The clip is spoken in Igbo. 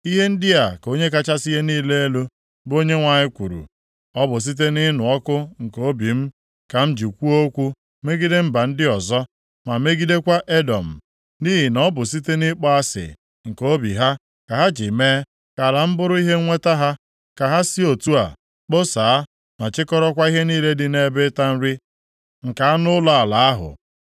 Ihe ndị a ka Onye kachasị ihe niile elu, bụ Onyenwe anyị kwuru, Ọ bụ site nʼịnụ ọkụ nke obi m ka m ji kwuo okwu megide mba ndị ọzọ, ma megidekwa Edọm, nʼihi na ọ bụ site nʼịkpọ asị nke obi ha ka ha ji mee ka ala m bụrụ ihe nnweta ha, ka ha si otu a kposaa, ma chịkọrọkwa ihe niile dị nʼebe ịta nri nke anụ ụlọ ala ahụ.’